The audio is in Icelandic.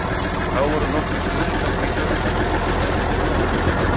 Þá voru nokkrir stuðningsmenn Hvíta Rússlands einnig dæmdir og sektaðir.